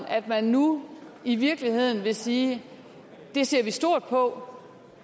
at man nu i virkeligheden vil sige det ser vi stort på